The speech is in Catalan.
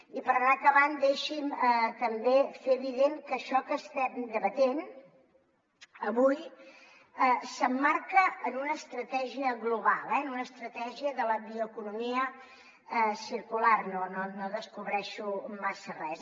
i per anar acabant deixi’m també fer evident que això que estem debatent avui s’emmarca en una estratègia global en una estratègia de la bioeconomia circular no descobreixo massa res